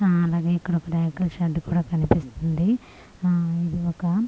ఆ అలాగే ఇక్కడ రేకుల షెడ్ కూడా కనిపిస్తుంది ఆ ఇది ఒక --